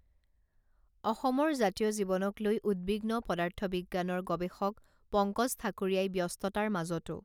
অসমৰ জাতীয় জীৱনক লৈ উদ্বিগ্ন পদাৰ্থবিজ্ঞানৰ গৱেষক পংকজ ঠাকুৰীয়াই ব্যস্ততাৰ মাজতো